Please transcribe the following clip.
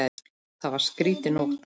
Það var skrýtin nótt.